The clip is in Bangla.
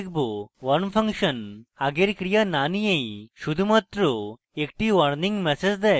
warm ফাংশন আগের ক্রিয়া the নিয়েই শুধুমাত্র action warning ম্যাসেজ দেয়